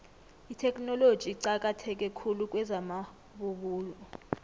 itheknoloji iqakatheke khulu kwezamabubulo